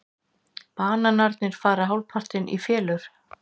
Bananarnir fara hálfpartinn í felur.